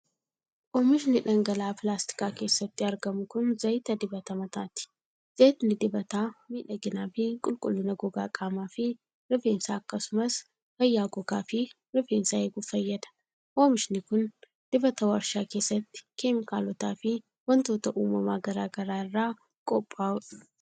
Oomishni dhangala'aa pilaastika keessatti arginu kun, zayita dibata mataati. Zayitni dibataa miidhagina fi qulqullina gogaa qaamaa fi rifeensaa akkasumas fayyaa gogaa fi rifeensaa eeguuf fayyada. Oomishni kun,,dibata warshaa keessatti keemikaalota fi wantoota uumamaa garaa garaa irraa qophaa'u dha.